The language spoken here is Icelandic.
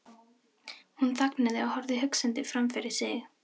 Hún þagnaði og horfði hugsandi framfyrir sig.